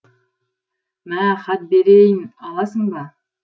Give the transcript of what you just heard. мә хат берейін аласың ба